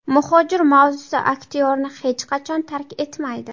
Muhojir mavzusi aktyorni hech qachon tark etmaydi.